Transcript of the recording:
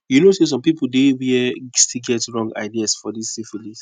you know say some people dey where still get wrong ideas for this syphilis